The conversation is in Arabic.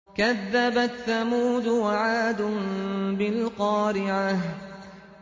كَذَّبَتْ ثَمُودُ وَعَادٌ بِالْقَارِعَةِ